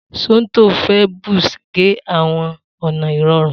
Somto fẹ Buzz ge awọn ọna ikorun.